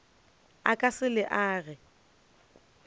o ka se le age